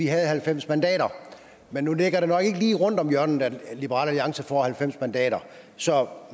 havde halvfems mandater men nu ligger det nok ikke lige rundt om hjørnet at liberal alliance får halvfems mandater så